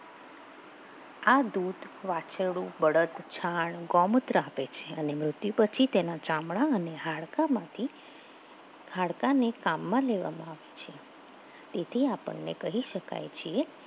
આ દૂધ વાછરડો, બળદ, છાણ, ગોમત્ર આપે છે અને મૃત્યુ પછી તેના જામણા અને હાડકામાંથી હાડકાને કામમાં લેવા આવે છે તેથી આપણને કહી શકાય છે.